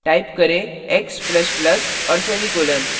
type करें x ++ और semicolon